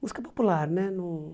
Música popular, né no?